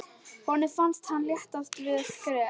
Honum fannst hann léttast við hvert skref.